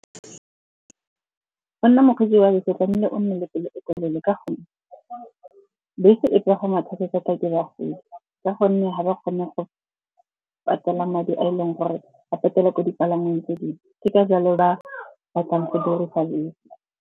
Go nna mokgwetsi wa bese gonne o nne le pelo e telele ka gonne bese e pagamiwa thata-thata ke bagodi ka gonne ga ba kgone go patela madi a e leng gore a patelwa ko dipalangweng tse dingwe. Ke ka jalo ba batlang go dirisa bese.